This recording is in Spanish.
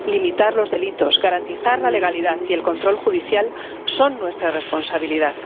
Limitar los delitos, garantizar la legalidad y el control judicial son nuestra responsabilidad.